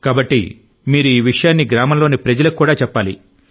కాబట్టి మీరు ఈ విషయాన్ని గ్రామంలోని ప్రజలకు కూడా చెప్పాలి